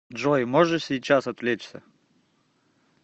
джой можешь сейчас отвлечься